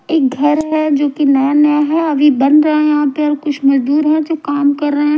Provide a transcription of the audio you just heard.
एक घर है जो कि नया-नया है। अभी बन रहा है यहां पे और कुछ मजदूर है जो काम कर रहे हैं।